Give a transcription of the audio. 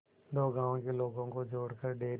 दो गांवों के लोगों को जोड़कर डेयरी